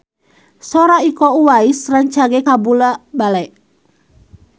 Sora Iko Uwais rancage kabula-bale